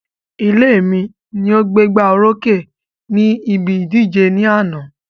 Ilé mi ni o gbégbá orókè ni ìbí ìdíje ní àná